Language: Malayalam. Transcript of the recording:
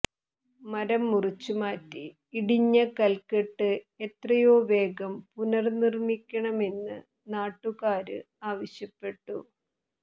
മരം മുറിച്ചു മാറ്റി ഇടിഞ്ഞ കല്ക്കെട്ട് എത്രയോ വേഗം പുനര്നിര്മ്മിക്കണമെന്ന് നാട്ടുകാര് ആവശ്യപ്പെട്ടു